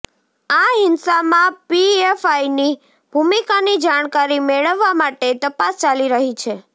આ હિંસામાં પીએફઆઈની ભૂમિકાની જાણકારી મેળવવા માટે તપાસ ચાલી રહી છે